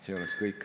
See oleks kõik.